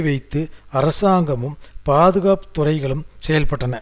வைத்து அரசாங்கமும் பாதுகாப்பு துறைகளும் செயல்பட்டன